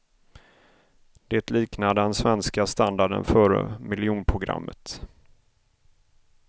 Det liknar den svenska standarden före miljonprogrammet.